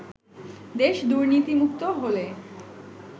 দেশ দুর্নীতিমুক্ত হলে